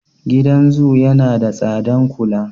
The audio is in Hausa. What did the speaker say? Gidan zo yana da tsadan kula.